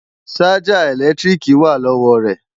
Ṣájà ẹ̀lẹ́tíríkì wà lọ́wọ́ rẹ̀